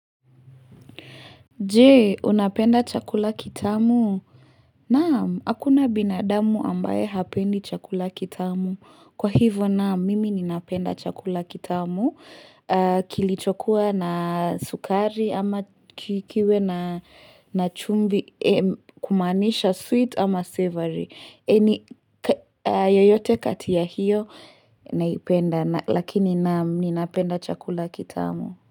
Je, unapenda chakula kitamu? Naam, hakuna binadamu ambaye hapendi chakula kitamu. Kwa hivyo naam, mimi ninapenda chakula kitamu. Kilichokuwa na sukari ama ki kiwe na chumvi kumaanisha sweet ama savory. Any yoyote katia hiyo naipenda. Lakini naam, ninapenda chakula kitamu.